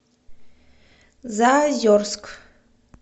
заозерск